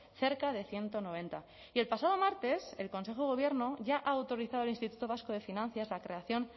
cerca de ciento noventa y el pasado martes el consejo de gobierno ya ha autorizado al instituto vasco de finanzas la creación